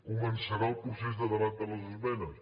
començarà el procés de debat de les esmenes